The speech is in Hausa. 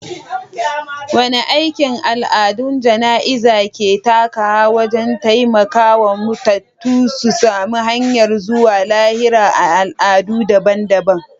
Wane aiki al’adun jana’iza ke takawa wajen taimaka wa matattu su sami hanyar zuwa lahira a al’adu dabam-dabam?